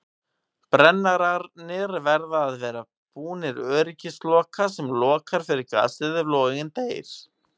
Brennararnir verða að vera búnir öryggisloka sem lokar fyrir gasið ef loginn deyr.